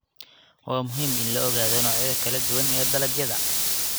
Waa muhiim in la ogaado noocyada kala duwan ee dalagyada.